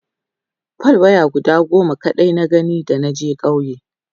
fal waya guda goma kaɗai na gani da naje ƙauye